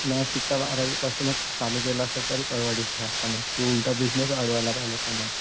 नशिकता बारावीपासूनच चालू केलं असतंस तरीपण मग तू उलटा बिजनेस अडवायला